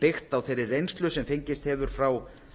byggt á þeirri reynslu sem fengist hefur frá